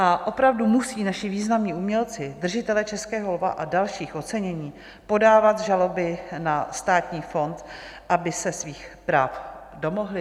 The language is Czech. A opravdu musí naši významní umělci, držitelé Českého lva a dalších ocenění, podávat žaloby na Státní fond, aby se svých práv domohli?